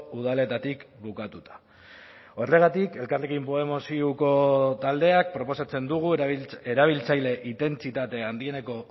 udaletatik bukatuta horregatik elkarrekin podemos iuko taldeak proposatzen dugu erabiltzaile intentsitate handieneko